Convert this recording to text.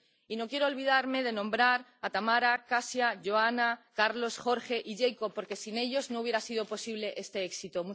Y no quiero olvidarme de nombrar a Tamara, Kasia, Joana, Carlos, Jorge y Jacob, porque sin ellos no hubiera sido posible este éxito.